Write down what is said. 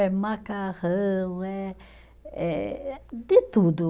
É macarrão, é é de tudo.